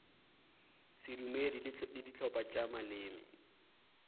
sedumedi le dihlopha tša maleme